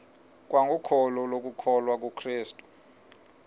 kwangokholo lokukholwa kukrestu